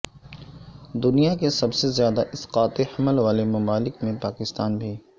دنیا کے سب سے زیادہ اسقاط حمل والے ممالک میں پاکستان بھی